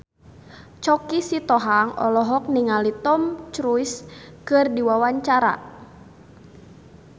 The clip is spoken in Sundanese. Choky Sitohang olohok ningali Tom Cruise keur diwawancara